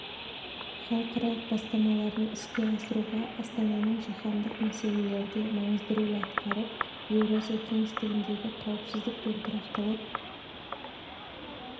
халықаралық бастамаларын іске асыруға астананың жаһандық мәселелерде маңызды рөл атқарып еуразия кеңістігіндегі қауіпсіздік пен тұрақтылық